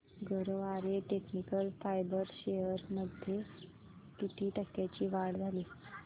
Garware technical fibres shares मध्ये किती टक्क्यांची वाढ झाली